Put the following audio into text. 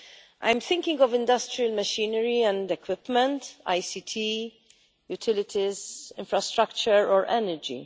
I am thinking of industrial machinery and equipment, ICT, utilities, infrastructure or energy.